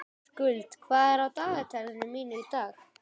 Skuld, hvað er á dagatalinu mínu í dag?